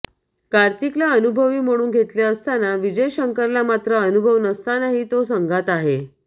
कार्तिकला अनुभवी म्हणून घेतले असताना विजय शंकरला मात्र अनुभव नसतानाही तो संघात आहे